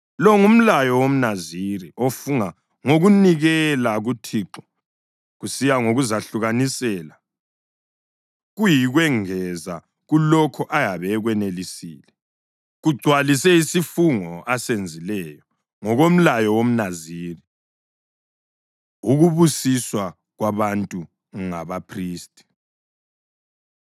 Lo ngumlayo womNaziri ofunga ngokunikela kuThixo kusiya ngokuzahlukanisela, kuyikwengeza kulokho ayabe ekwenelisile. Kagcwalise isifungo asenzileyo, ngokomlayo womNaziri.’ ” Ukubusiswa Kwabantu NgabaPhristi